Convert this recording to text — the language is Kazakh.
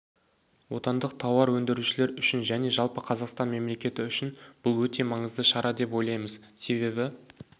отандық тауар өндірушілер үшін және жалпы қазақстан мемлекеті үшін бұл өте маңызды шара деп ойлаймыз себебі